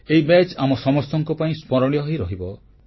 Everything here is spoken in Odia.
ଏହି ମ୍ୟାଚ୍ ଆମ ସମସ୍ତଙ୍କ ପାଇଁ ସ୍ମରଣୀୟ ହୋଇରହିବ